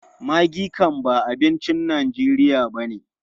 Miang kham ba abincin Najeriya ba ne.